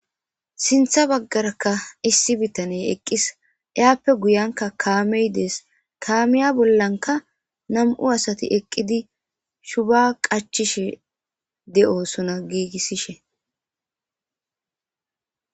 Sintha baggaraka issi bitaney eqqis iyaappe guyanka kaamey dees kaamiya bollanka nam'u asati eqqidi shuba qachishe de'osuna giigissishe